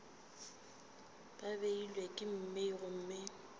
ba beilwe ka mei gomme